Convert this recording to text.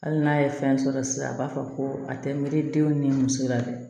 Hali n'a ye fɛn sɔrɔ sisan a b'a fɔ ko a tɛ miiri denw ni muso la dɛ